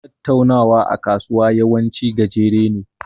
Tattaunawa a kasuwa yawanci gajere ne.